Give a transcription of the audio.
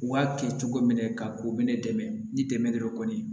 U b'a kɛ cogo min na ka u minɛ dɛ ni dɛmɛ de don kɔni